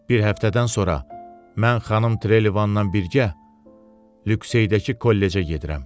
Bir həftədən sonra mən xanım Trelevanla birgə Lüxeydəki kollecə gedirəm.